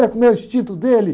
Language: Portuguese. Olha como é o instinto dele.